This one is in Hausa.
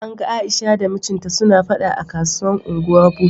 A yau an gan Aisha da mijinta suna fada a kasuwan Ungwar Buso.